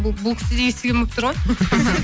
бұл кісі де естіген болып тұр ғой